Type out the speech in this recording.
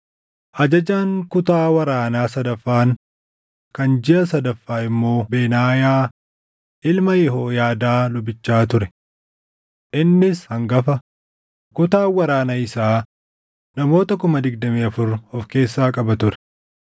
Ajajaan kutaa waraanaa sadaffaan kan jiʼa sadaffaa immoo Benaayaa ilma Yehooyaadaa lubichaa ture. Innis hangafa; kutaan waraana isaa namoota 24,000 of keessaa qaba ture.